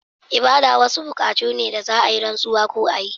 Ibada wasu bukatu ne da za a yi rantsuwa ko a yi